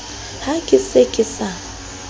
ha ke se ke sa